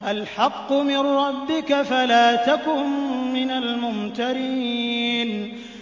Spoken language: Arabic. الْحَقُّ مِن رَّبِّكَ فَلَا تَكُن مِّنَ الْمُمْتَرِينَ